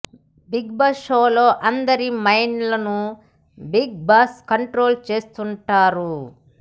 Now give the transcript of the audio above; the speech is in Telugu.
బిగ్ బాస్ షోలో అందరి మైండ్ లను బిగ్ బాస్ కంట్రోల్ చేస్తుంటారు